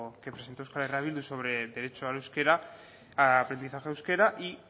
que presento euskal herria bildu sobre el derecho al euskera al aprendizaje de euskera y